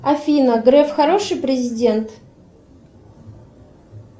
афина греф хороший президент